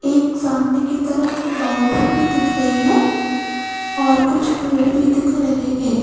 एक सामने की तरफ बाउंड्री भी दिख रही है और कुछ पेड़ भी दिख रहे हैं।